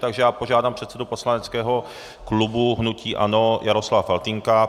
Takže já požádám předsedu poslaneckého klubu hnutí ANO Jaroslava Faltýnka.